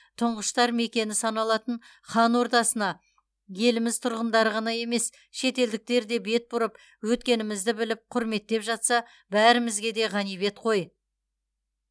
тұңғыштар мекені саналатын хан ордасына еліміз тұрғындары ғана емес шетелдіктер де бет бұрып өткенімізді біліп құрметтеп жатса бәрімізге де ғанибет қой